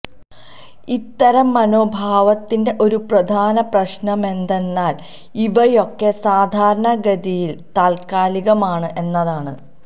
ഇത്തരം മനോഭാവത്തിന്റെ ഒരു പ്രധാന പ്രശ്നമെനന്തെന്നാൽ ഇവയൊക്കെ സാധാരണഗതിയിൽ താത്കാലികമാണ് എന്നതാണ്